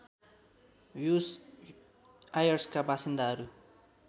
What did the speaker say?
ब्युस् आयर्सका वासिन्दाहरू